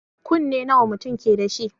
Kunne nawa mutun keda shi